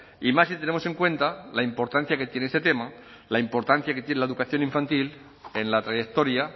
y más si tenemos en cuenta la importancia que tiene este tema la importancia que tiene la educación infantil en la trayectoria